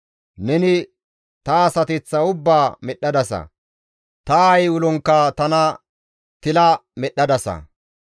Neni ta asateththa ubbaa medhdhadasa; ta aayey ulonkka tana tila medhdhadasa.